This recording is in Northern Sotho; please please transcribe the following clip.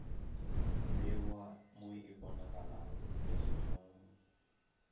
bewa mo e bonagalago lefelong